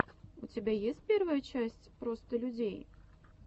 у тебя есть первая часть просто людей